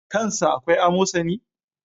Kan sa akwai amosani?